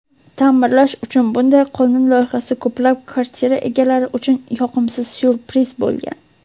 ta’mirlash uchun bunday qonun loyihasi ko‘plab kvartira egalari uchun "yoqimsiz syurpriz bo‘lgan".